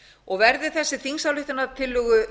og verði þessari þingsályktunartillögu